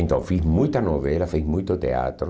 Então fiz muita novela, fiz muito teatro,